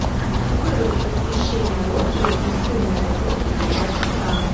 вырубить освещение лоджии из умной розетки на два часа